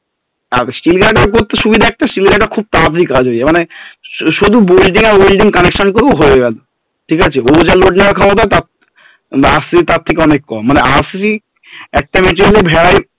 আর Steel guarder এর সুবিধা একটা steel guard খুব তাড়াতাড়ি কাজ হয়ে যায় মানে শুধু আর welding connection করবো ব্যাস হয়ে গেলো ঠিকাছে ওর যা load নেওয়ার ক্ষমতা RCC র তার থেকে অনেক কম মানে RCC একটা